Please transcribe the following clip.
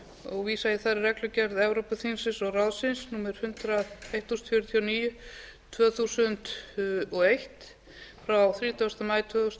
og vísa ég þar í reglugerð evrópuþingsins og ráðsins númer eitt þúsund fjörutíu og níu tvö þúsund og eitt frá þrítugasta maí tvö þúsund og